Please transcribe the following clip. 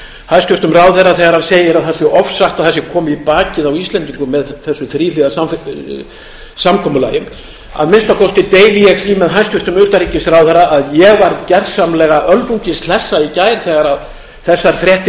hæstvirtum ráðherra þegar hann segir að það sé ofsagt að það sé komið í bakið á íslendingum með þessu þríhliða samkomulagi að minnsta kosti deili ég því með hæstvirtum utanríkisráðherra að ég varð gjörsamlega öldungis hlusta í gær þegar þessar fréttir